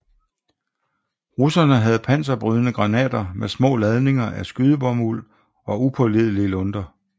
Russerne havde panserbrydende granater med små ladninger af skydebomuld og upålidelige lunter